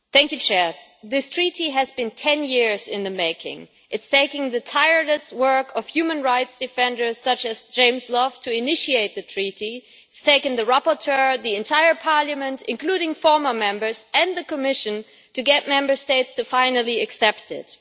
Mr President, this treaty has been 10 years in the making. It took the tireless work of human rights defenders such as James Love to initiate the treaty, and it has taken the rapporteur, the entire Parliament, including former Members, and the Commission to get Member States finally to accept it.